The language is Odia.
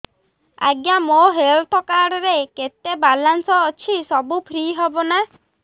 ଆଜ୍ଞା ମୋ ହେଲ୍ଥ କାର୍ଡ ରେ କେତେ ବାଲାନ୍ସ ଅଛି ସବୁ ଫ୍ରି ହବ ନାଁ